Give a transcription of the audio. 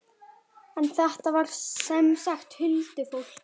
En þetta var sem sagt huldufólk.